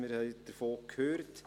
Wir haben davon gehört.